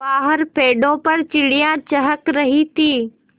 बाहर पेड़ों पर चिड़ियाँ चहक रही थीं